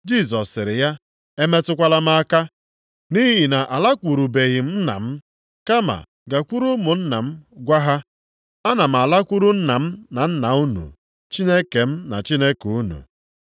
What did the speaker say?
Jisọs sịrị ya, “Emetụkwala m aka nʼihi na alakwurubeghị m Nna m. Kama gakwuru ụmụnna m gwa ha, ‘Ana m alakwuru Nna m na Nna unu. Chineke m na Chineke unu.’ ”